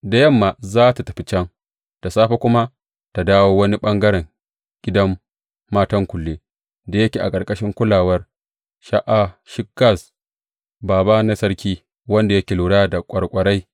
Da yamma za tă tafi can, da safe kuma ta dawo wani ɓangaren gidan matan kullen da yake a ƙarƙashin kulawar Sha’ashgaz, bābā na sarki, wanda yake lura da ƙwarƙwarai.